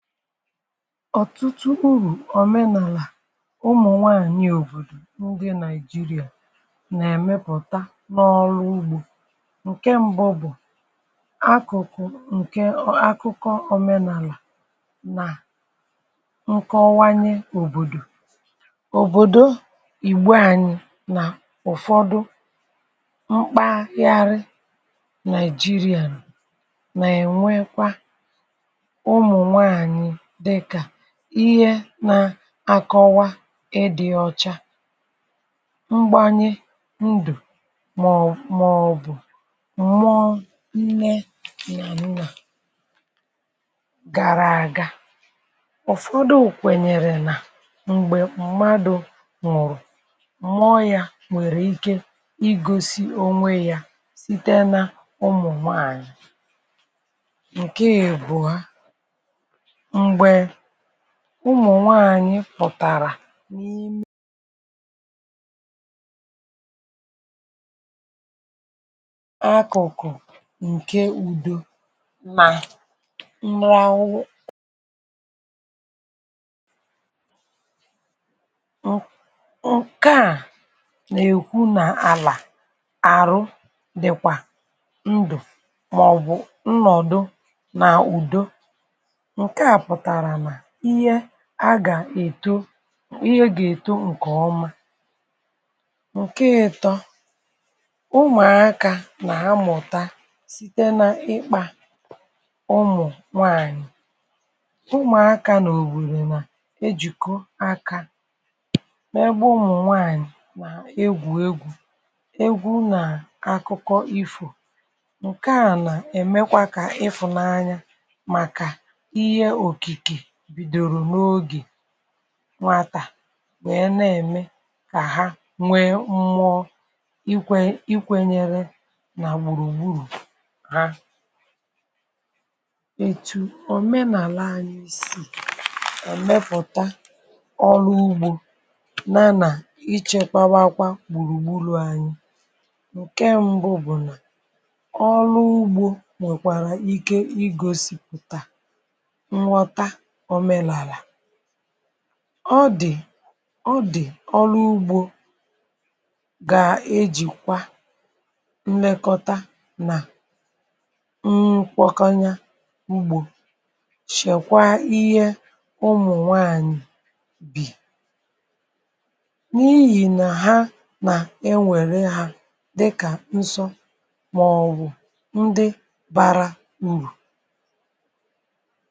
Ọtụtụ urù òmenàlà ụmụ̀ nwanyị̀ òbòdò ndị Nigeria nà-èmepụ̀ta n’ọrụ ugbȯ, ǹke mbụ bụ̀ akụ̀kụ̀ ǹkè akụkọ òmenàlà nà nkọwanye òbòdò òbòdo ìgbo anyị nà ụ̀fọdụ mkpaghari Nigeria nà-ènwekwa ụmụ nwanyị dịka ihe nȧ-akọwa ịdị̇ ọcha, mgbànyẹ ndụ̀ mà maọ̀bụ̀ m̀mụọ nne na nna gara àga. Ufọdụ kwènyèrè nà m̀gbè mmadụ̀ nwụ̀rụ̀ mụọ yȧ nwèrè ike igosi onwe yȧ site n’ụmụ̀ nwanyị. Nke ibua, mgbe ụmụ̀ nwànyị pụ̀tàrà n’ime akụkụ nke udo na mmegharị nkea na-ekwu na ala arụ dịkwa ndụ maọbụ nọdụ n'udo, nkea pụtara na ihe a gà-èto ihe gà-èto ǹkè ọma. ǹke ịtọ ụmụ̀akȧ nà-amụ̀ta site n’ịkpȧ ụmụ̀ nwaànyị̀ ụmụ̀akȧ nà òbòdò nà ejìkọ akȧ n'ebe ụmụ̀ nwaànyị̀ nà egwù egwu̇, egwu̇ nà akụkọ ifo, ǹke à nà-èmekwa kà ifùnanya maka ihe Okike bidoro n'oge nwatà nwèe na-ème kà ha nwee mmọọ ikwe ikwenyere nà gbùrùgburù ha. Etù òmenàla anyị sì emẹpọuta ọrụ ugbȯ na nà ichėkwawakwa gbùrùgburù anyị, ǹke mbụ bụ̀ nà ọrụ ugbȯ nwèkwàrà ike igosìpụ̀tà nghọta omenala, ọ dị̀ ọ dị̀ ọrụ ugbȯ gà ejìkwa nlekọta nà nkwọkọnye ugbȯ chèkwa ihe ụmụ̀ nwanyị̀ bì, n’ihì nà ha nà ewère ha dịkà nsọ màọbụ̀ ndị bara urù.